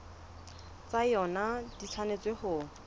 tsa yona di tshwanetse ho